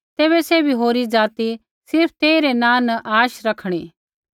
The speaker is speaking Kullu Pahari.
तैबै सैभी होरी ज़ाति सिर्फ़ तेई रै नाँ न आशा रैखणी